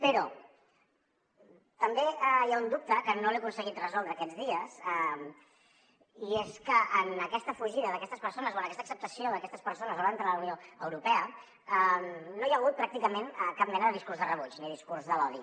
però també hi ha un dubte que no he aconseguit resoldre aquests dies i és que en aquesta fugida d’aquestes persones o en aquesta acceptació d’aquestes persones davant de la unió europea no hi ha hagut pràcticament cap mena de discurs de rebuig ni discurs de l’odi